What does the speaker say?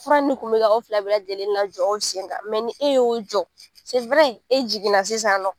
Fura nin kun mi ka aw fila bɛɛ lajɛlen na jɔ aw sen kan, ni e y'o jɔ, e jiginna sisan nɔn